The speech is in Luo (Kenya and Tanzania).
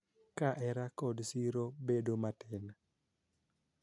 Ka hera kod siro bedo matin,